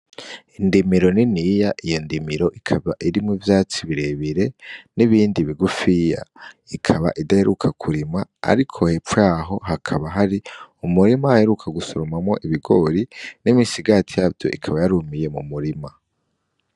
Indimiro niniya iyo ndimiro ikaba irimwo ivyatsi birebire nibindi bigufiya ikaba idaheruka kurimwa ariko hepfo yaho hakaba hari umurima uheruka gusoromwamwo ibigori n'imisagati yavyo ikaba yarumiye mu murima.